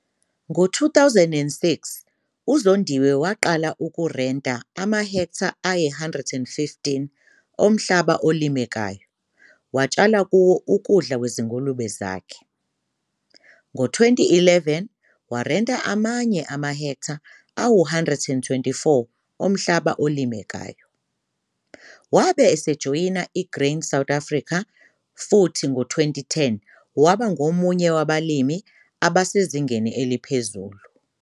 Ngo-2006 uZondiwe waqala ukurenta amahektha ayi-115 omhlaba olimekayo atshala kuwo ukudla kwezingulube zakhe. Ngo-2011 warenta amanye amahektha angama-124 omhlaba olimekayo. Wabe esejoyina i-Grain SA futhi ngo-2010 waba ngomunye wabalimi asebesezingeni eliphezulu.